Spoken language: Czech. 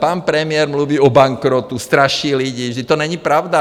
Pan premiér mluví o bankrotu, straší lidi, vždyť to není pravda.